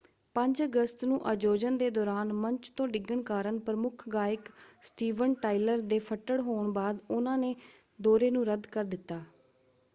5 ਅਗਸਤ ਨੂੰ ਅਯੋਜਨ ਦੇ ਦੌਰਾਨ ਮੰਚ ਤੋਂ ਡਿੱਗਣ ਕਾਰਨ ਪ੍ਰਮੁੱਖ ਗਾਇਕ ਸਟੀਵਨ ਟਾਇਲਰ ਦੇ ਫੱਟੜ ਹੋਣ ਬਾਅਦ ਉਨ੍ਹਾਂ ਨੇ ਦੌਰੇ ਨੂੰ ਰੱਦ ਕਰ ਦਿੱਤਾ।